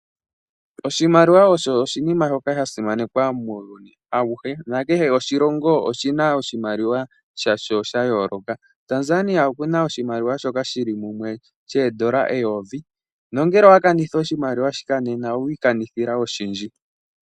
Oshimaliwa osho oshinima shoka sha simanekwa muuyuni awuhe, nake he oshilongo oshina oshimaliwa sha sho sha yooloka. Tanzania okuna oshimaliwa shili mumwe shoondola eyovi nongele owa kanitha oshimaliwa shika nena owiika nithila oshindji.